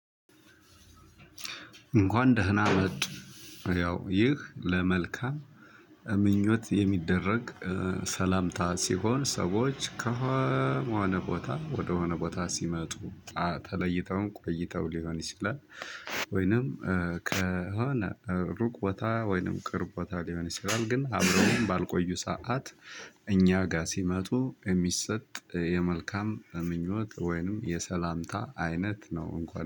እንኳን ደህና መጡ ያው ይህ ለመልካም ምኞት የሚደረግ ሰላምታ ሲሆን ሰዎች ከሆነ ቦታ ወደሆነ ቦታ ሲመጡ ተለይተውም ቆይተው ሊሆን ይችላል። ወይንም ከሆነ ሩቅ ቦታ ወይንም ቅርብ ቦታ ሊሆን ይችላል። ግን አብረውም ባልቆዩ ሰዓት እኛ ጋር ሲመጡ የሚሰጥ የመልካም ምኞት ወይንም የሰላምታ አይነት ነው። እንኳን